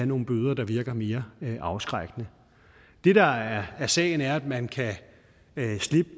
nogle bøder der virker mere afskrækkende det der er sagen er at man